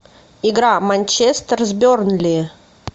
игра манчестер с бернли